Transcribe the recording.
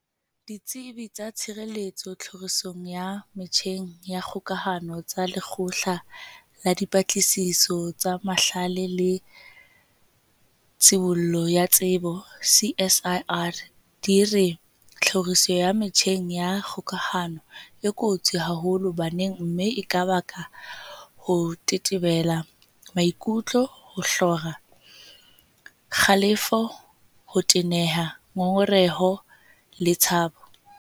Ditsebi tsa tshireletso tlhorisong ya metjheng ya kgokahano tsa Lekgotla la Dipatlisiso tsa Mahlale le Tshibollo ya Tsebo, CSIR, di re tlhoriso ya metjheng ya kgokahano e kotsi haholo baneng mme e ka baka ho tetebela maikutlo, ho hlora, kgalefo, ho teneha, ngongereho le tshabo.